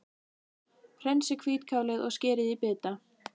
Hreinsið hvítkálið og skerið í bita.